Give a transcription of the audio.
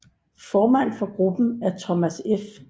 Formand for gruppen er Thomas F